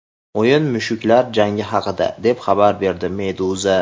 O‘yin mushuklar jangi haqida, deb xabar berdi Meduza.